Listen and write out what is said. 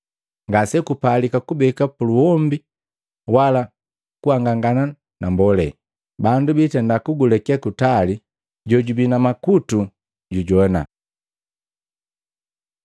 Ngasegupalika kubeka puluombi wala kuangangana na mbolea. Bandu biitenda kujileke kutali. Jojubi na makutu jujoana!”